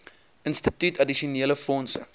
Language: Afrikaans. instituut addisionele fondse